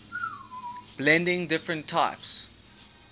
blending different types